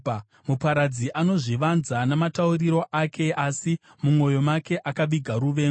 Muparadzi anozvivanza namatauriro ake, asi mumwoyo make akaviga ruvengo.